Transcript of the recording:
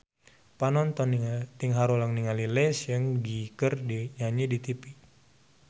Panonton ting haruleng ningali Lee Seung Gi keur nyanyi di tipi